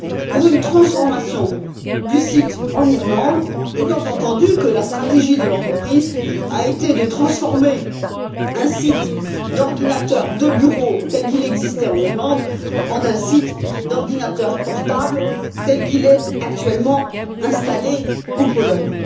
pour une transformation du site en Irlande, étant entendu que la stratégie de l'entreprise a été de transformer un site d'ordinateurs de bureau, tel qu'il existait en Irlande, en un site d'ordinateurs portables, tel qu'il est actuellement installé en Pologne.